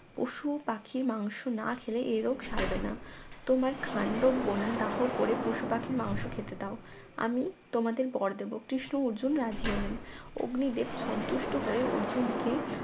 পশু পাখির মাংশ না খেলে এ রোগ সারবে না তোমার খান্ডবন দাহ করে পশুপাখির মাংশ খেতে দাও আমি তোমাদের বর দেব কৃষ্ণ অর্জুন রাজি হলেন অগ্নিদেব সন্তুষ্ট হয়ে অর্জুনকে